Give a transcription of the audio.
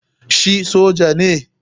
Shi soja ne?